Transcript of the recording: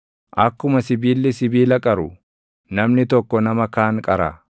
Akkuma sibiilli sibiila qaru, namni tokko nama kaan qara.